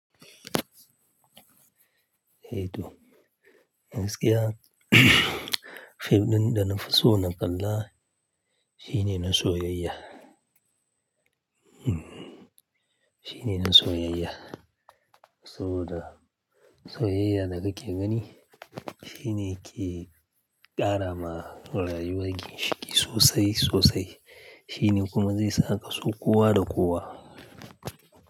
Eh to. Gaskiya fim ɗin da na fi so na kalla shine na soyayya. Hmm. Shine na soyayya saboda soyayya da kake gani shine ke ƙara ma rayuwar ki ciki sosai sosai. Shine kuma zai sa ka so kowa da kowa.